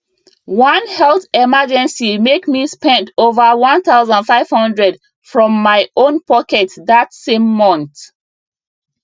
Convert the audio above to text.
one health emergency make me spend over 1500 from my own pocket that same month